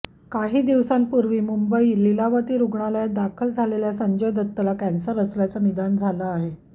काही दिवसांपूर्वी मुंबईत लीलावती रुग्णालयात दाखल झालेल्या संजय दत्तला कॅन्सर असल्याचं निदान झालं आहे